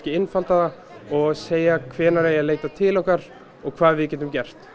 einfalda það og segja hvenær eigi að leita til okkar og hvað við getum gert